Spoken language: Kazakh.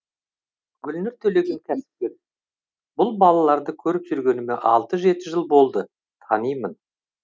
гүлнұр төлеген кәсіпкер бұл балаларды көріп жүргеніме алты жеті жыл болды танимын